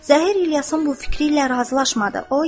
Zəhir İlyasın bu fikri ilə razılaşmadı.